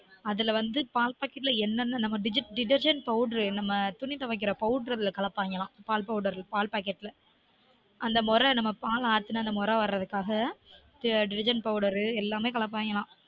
அதுல வந்து பால் packet ல என்னென்ன நம்ம detergent powder அதுல நம்ம துணி துவைக்குற powder அதுல கலப்பாய்ங்கலான் பால் packet ல அந்த மொர நம்ம பால் ஆத்துனா நுரை வர்ரதுக்குகாக detergent எல்லாமே கலக்குவாய்ங்கலான்